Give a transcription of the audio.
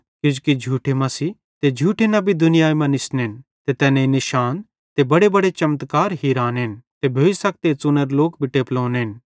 किजोकि झूठे मसीह ते झूठे नबी दुनियाई मां निसनेन ते तैनेईं निशान ते बड्डेबड्डे चमत्कार हिरानेन ते भोइसखे त च़ुनोरे लोक भी टेपलोनेन